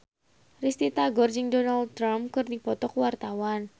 Risty Tagor jeung Donald Trump keur dipoto ku wartawan